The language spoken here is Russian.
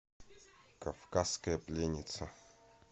кавказская пленница